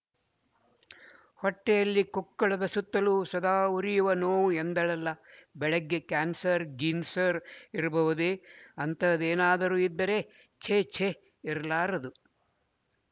ಹೊಟ್ಟೆಯಲ್ಲಿ ಕೊಕ್ಕುಳದ ಸುತ್ತಲೂ ಸದಾ ಉರಿಯುವ ನೋವು ಎಂದಳಲ್ಲ ಬೆಳಿಗ್ಗೆ ಕ್ಯಾನ್ಸರ್ ಗೀನ್ಸರ್ ಇರಬಹುದೇ ಅಂತಹದೇನಾದರೂ ಇದ್ದರೆ ಛೇ ಛೇ ಇರಲಾರದು